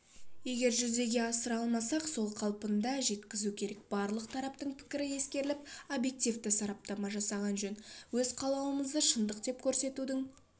егер жүзеге асыра алмасақ сол қалпында жеткізу керек барлық тараптың пікірі ескеріліп объектівті сараптама жасаған жөн өз қалауымызды шындық деп көрсетудің